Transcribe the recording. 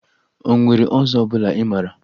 O nwere ọzọ ọbụla ị mara?